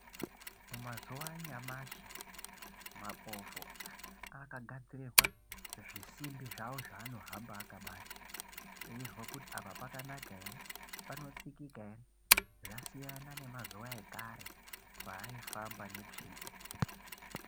Mazuwa anayamashi mapofo akagadzirirwa zvisimbi zvavo zvaanohamba akabata veizwa kuti apa pakanaka ere panotsikika ere zvasiyana nemazuwa ekare paaifamba netsvimbo.